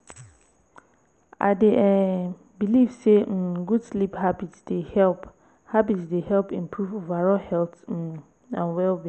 i dey um believe say um good sleep habits dey help habits dey help improve overall health um and well-being.